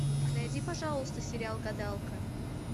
найди пожалуйста сериал гадалка